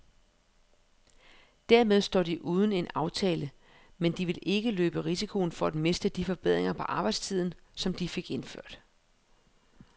Dermed står de uden en aftale, men de vil ikke løbe risikoen for at miste de forbedringer på arbejdstiden, som de fik indført.